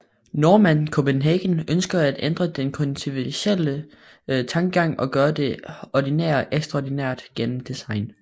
Normann Copenhagen ønsker at ændre den konventionelle tankegang og gøre det ordinære ekstraordinært gennem design